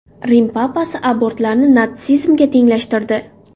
Rim papasi abortlarni natsizmga tenglashtirdi.